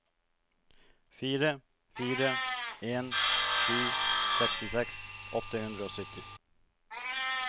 fire fire en sju sekstiseks åtte hundre og sytti